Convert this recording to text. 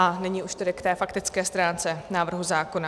A nyní už tedy k té faktické stránce návrhu zákona.